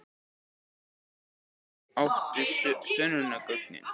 THEODÓRA: Mýsnar átu sönnunargögnin.